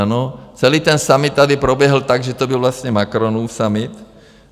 Ano, celý ten summit tady proběhl tak, že to byl vlastně Macronův summit.